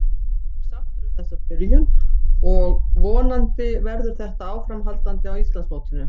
Ég er sáttur við þessa byrjun og vonandi verður þetta áframhaldandi á Íslandsmótinu.